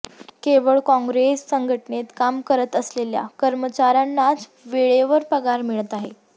केवळ काँग्रेस संघटनेत काम करत असलेल्या कर्मचाऱ्यांनाच वेळेवर पगार मिळत आहे